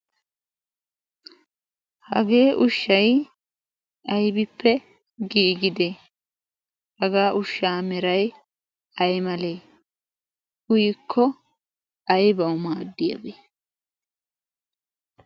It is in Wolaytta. hagee ushshay aybippe giigide hagaa ushshaa meray ay malee uyikko aibau maaddiyaabee?